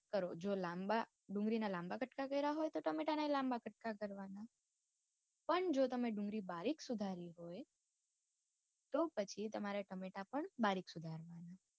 કરો જો લાંબા ડુંગળી ના લાંબા કટકા કરા હોય તો ટમેટા નાય લાંબા ટુકડા કરવાના પણ જો તમે ડુંગળી બારીક સુધારી હોય તો પસી તમારે ટમેટા પણ બારીક સુધારવાના